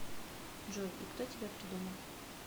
джой и кто тебя придумал